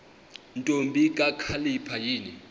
ntombi kakhalipha yini